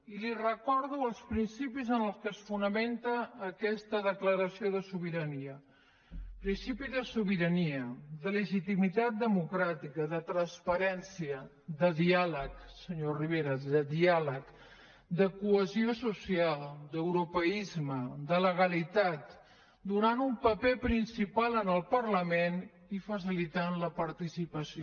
i li recordo els principis en què es fonamenta aquesta declaració de sobirania principi de sobirania de legitimitat democràtica de transparència de diàleg senyor rivera de diàleg de cohesió social d’europeisme de legalitat donant un paper principal al parlament i facilitant la participació